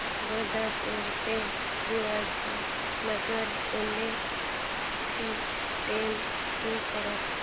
जोधपुर ते शिवाजीनगर पुणे ची train show कर